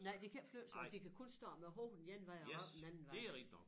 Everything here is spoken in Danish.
Nej de kan ikke flytte sig de kan kun stå med hovedet den ene vej og æ røv den anden vej